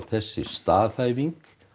þessi staðhæfing